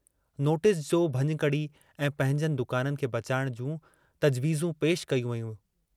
Notice जो भञकिड़ी ऐं पंहिंजनि दुकाननि खे बचाइण जूं तज़वीजूं पेश कयूं वयूं।